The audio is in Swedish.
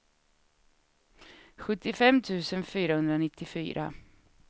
sjuttiofem tusen fyrahundranittiofyra